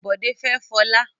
Bòdé fẹ́ Fọlá.